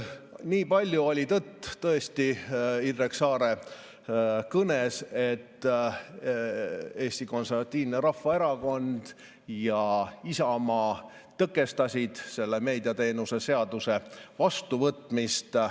Nii palju oli Indrek Saare kõnes tõesti tõtt, et Eesti Konservatiivne Rahvaerakond ja Isamaa tõkestasid selle meediateenuste seaduse vastuvõtmist.